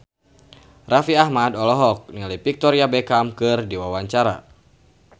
Raffi Ahmad olohok ningali Victoria Beckham keur diwawancara